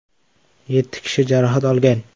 Yetti kishi jarohat olgan.